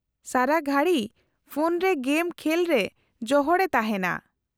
-ᱥᱟᱨᱟ ᱜᱷᱟᱹᱲᱤ ᱯᱷᱳᱱ ᱨᱮ ᱜᱮᱢ ᱠᱷᱮᱞ ᱨᱮ ᱡᱚᱦᱚᱲᱮ ᱛᱟᱦᱮᱸᱱᱟ ᱾